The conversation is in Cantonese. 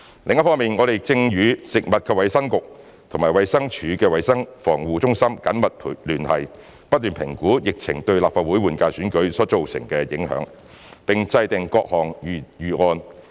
另一方面，我們正與食衞局和衞生署的衞生防護中心緊密聯繫，不斷評估疫情對立法會換屆選舉所造成的影響，並制訂各種預案。